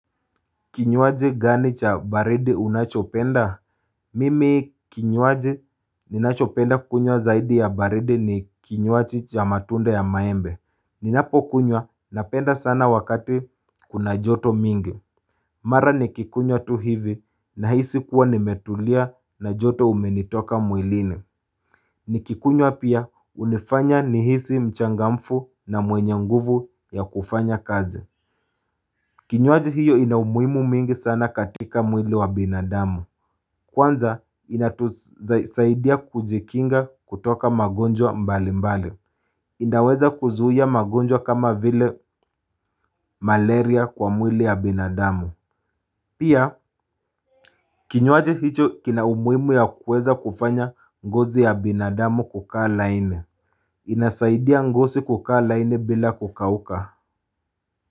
Kinywaji gani cha baridi unachopenda mimi kinywaji ninachopenda kunywa zaidi ya baridi ni kinywaji cha matunda ya maembe Ninapo kunywa napenda sana wakati kuna joto mingi Mara nikikunywa tu hivi na hisi kuwa nimetulia na joto umenitoka mwilini. Nikikunywa pia unifanya nihisi mchangamfu na mwenye nguvu ya kufanya kazi Kinywaji hiyo ina umuimu mingi sana katika mwili wa binadamu Kwanza ina tusaidia kujikinga kutoka magonjwa mbali mbali inaweza kuzuia magonjwa kama vile malaria kwa mwili ya binadamu Pia Kinywaji hicho kina umuimu ya kuweza kufanya ngozi ya binadamu kukaa laini inasaidia ngosi kukaa laini bila kukauka.